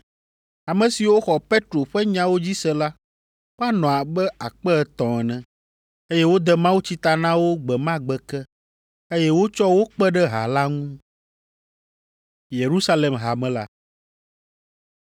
Ame siwo xɔ Petro ƒe nyawo dzi se la, woanɔ abe akpe etɔ̃ ene, eye wode mawutsi ta na wo gbe ma gbe ke, eye wotsɔ wo kpe ɖe ha la ŋu.